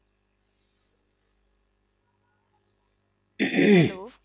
Hello